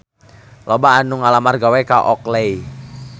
Loba anu ngalamar gawe ka Oakley